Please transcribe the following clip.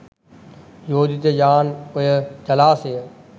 යෝජිත යාන් ඔය ජලාශය